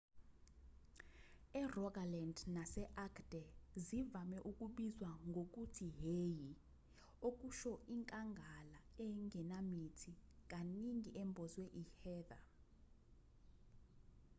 erogaland nase-agder zivame ukubizwa ngokuthi hei okusho inkangala engenamithi kaningi embozwe i-heather